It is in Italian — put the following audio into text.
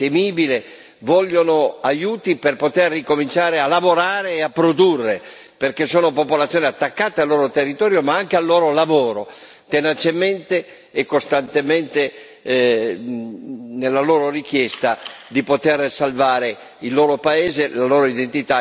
vogliono aiuti per poter ricominciare a lavorare e a produrre, perché sono popolazione attaccate al loro territorio, ma anche al loro lavoro, tenacemente e costantemente, nella loro richiesta di poter salvare il loro paese, la loro identità, il loro lavoro.